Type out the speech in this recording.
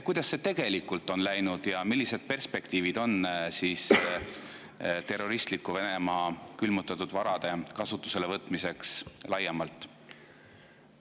Kuidas see tegelikult on läinud ja millised perspektiivid on terroristliku Venemaa külmutatud varade kasutusele võtmiseks laiemalt?